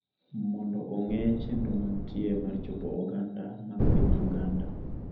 mondo ong'e chenro mantie mar chopo oganda mag piny Uganda